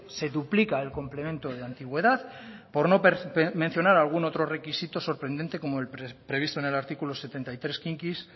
se duplica el complemente de antigüedad por no mencionar alguno otro requisito sorprendente como el previsto en el artículo setenta y tres quinquis